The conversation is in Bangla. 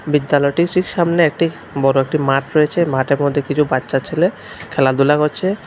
বিদ্যালয়টির ঠিক সামনে একটি বড় একটি মাঠ রয়েছে মাঠের মধ্যে কিছু বাচ্চা ছেলে খেলাধুলা করছে।